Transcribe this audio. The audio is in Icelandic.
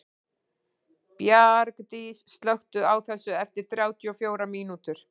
Bjargdís, slökktu á þessu eftir þrjátíu og fjórar mínútur.